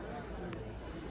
Axırda dedi ki, gedir.